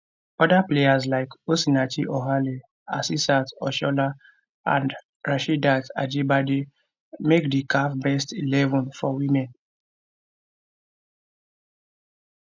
oda players like osinachi ohale asisat oshoala and rasheedat ajibade make di caf best eleven for women